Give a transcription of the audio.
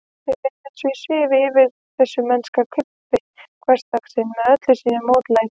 Mér leið eins og ég svifi yfir þessu mennska krumpi hversdagsins með öllu sínu mótlæti.